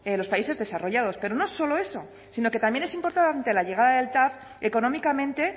los países desarrollados pero no solo eso sino que también es importante la llegada del tav económicamente